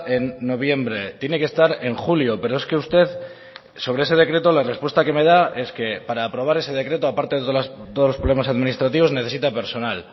en noviembre tiene que estar en julio pero es que usted sobre ese decreto la respuesta que me da es que para aprobar ese decreto aparte de todos los problemas administrativos necesita personal